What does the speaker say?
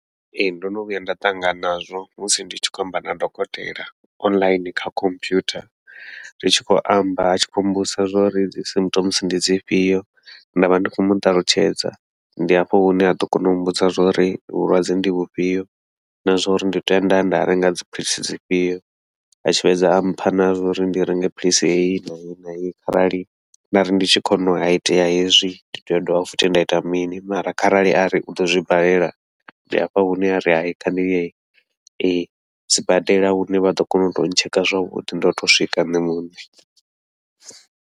Ee, ndo no vhuya nda ṱangana nazwo musi ndi tshi khou amba na dokotela online kha computer, ri tshi khou amba a tshi khou mbudzisa zwauri dzi symptoms ndi dzifhio nda vha ndi khou muṱalutshedza ndi hafho hune ha ḓo kona u mbudza zwauri vhulwadze ndi vhufhio, na zwa uri ndi tea ndaya nda renga dziphiḽisi dzifhio a tshi fhedza a mpha na zwa uri ndi renge philisi heyi na heyi na heyi. Kharali nda ri ndi tshi khou nwa ha itea hezwi ndi tea u dovha futhi nda ita mini, mara kharali ari uḓo zwibalela ndi hafha hune ari hai kha ndi ye sibadela hune vha ḓo kona u tea u tsheka zwavhuḓi ndo to swika nṋe muṋe.